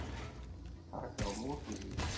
Taka á móti því.